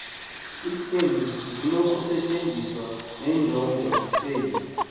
izenzi zinokusetyenziswa nenjongosenzi